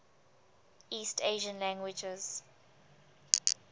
east asian languages